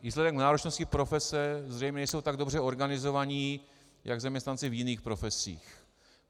Výsledek náročnosti profese, zřejmě nejsou tak dobře organizovaní jako zaměstnanci v jiných profesích.